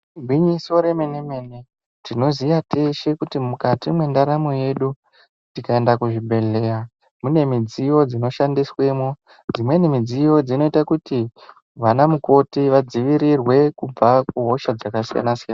Igwinyiso re mene mene tinoziya teshe kuti mukati mwe ndaramo yedu tikaenda ku zvibhedhleya mune midziyo dzino shandiswemo dzimweni midziyo dzinoita kuti vana mukoti vadzivirirwe kubva ku hosha dzaka siyana siyana.